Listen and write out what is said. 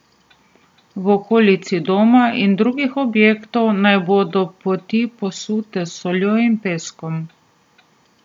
V okolici doma in drugih objektov naj bodo poti posute s soljo in peskom.